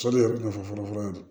So de ye kunnafoni fɔlɔ ye